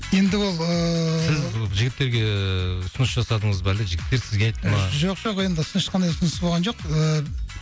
енді ол ыыы сіз жігіттерге ыыы ұсыныс жасадыңыз ба әлде жігіттер сізге айтты ма жоқ жоқ енді ешқандай ұсыныс болған жоқ ыыы